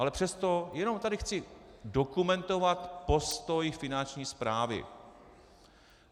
Ale přesto jenom tady chci dokumentovat postoj Finanční správy.